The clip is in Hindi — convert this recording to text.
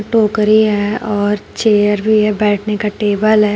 टोकरी है और चेयर भी है बैठने का टेबल है।